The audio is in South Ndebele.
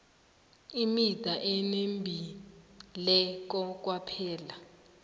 imida enembileko kwaphela